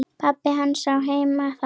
Pabbi hans á heima þar.